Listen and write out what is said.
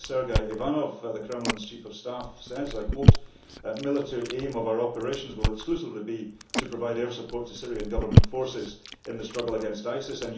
Sergei Ivanov, the Kremlin's Chief of Staff, says, and I quote The military aim of our operations will exclusively be to provide air support to Syrian Government forces in the struggle against ISIS.'